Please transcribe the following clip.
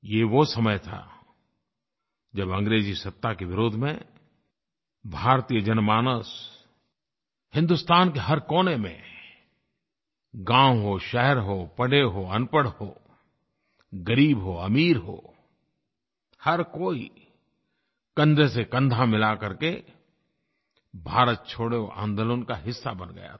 ये वो समय था जब अंग्रेज़ी सत्ता के विरोध में भारतीय जनमानस हिंदुस्तान के हर कोने में गाँव हो शहर हो पढ़ा हो अनपढ़ हो ग़रीब हो अमीर हो हर कोई कंधेसेकंधा मिला करके भारत छोड़ो आन्दोलन का हिस्सा बन गया था